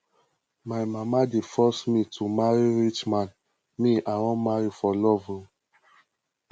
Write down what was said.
my mama dey force me to marry rich man me i wan marry for love o